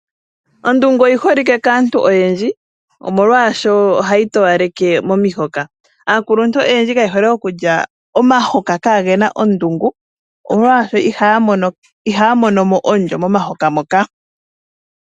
Ondungu oyi holike kaantu oyendji, molwaasho ohayi towaleke momihoka. Aakuluntu oyendji kaye hole okulya omahoka kaage na ondungu, molwaasho ihaya mono mo omulyo momahoka moka.